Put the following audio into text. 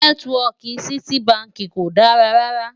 nẹtiwọki Citi bánkì kò dá rà rà